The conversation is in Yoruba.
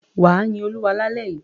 Wà á yin Olúwa lálẹ́ yìí.